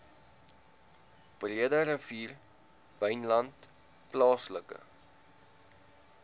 breederivier wynland plaaslike